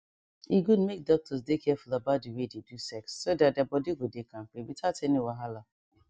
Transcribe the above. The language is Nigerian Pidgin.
e good make doctors dey careful about the way they do sex so that their body go dey kampe without any wahala